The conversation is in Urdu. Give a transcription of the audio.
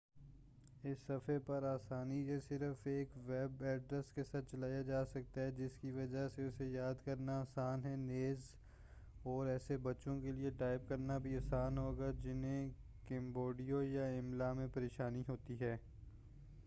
اس صفحے پر آسانی سے صرف ایک ویب ایڈریس کے ساتھ چلایا جا سکتا ہے جس کی وجہ سے اسے یاد کرنا آسان ہے نیز اور ایسے بچوں کے لئے ٹائپ کرنا بھی آسان ہوگا جنہیں کیبورڈ یا املا میں پریشانی ہوتی ہو